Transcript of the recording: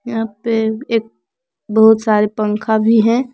यहां पे एक बहुत सारे पंखा भी हैं।